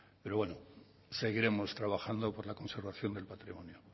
pero bueno seguiremos trabajando por la conservación del patrimonio